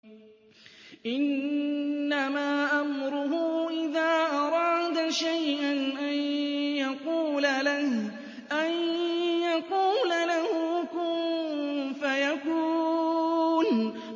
إِنَّمَا أَمْرُهُ إِذَا أَرَادَ شَيْئًا أَن يَقُولَ لَهُ كُن فَيَكُونُ